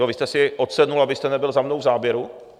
Jo, vy jste si odsedl, abyste nebyl za mnou v záběru?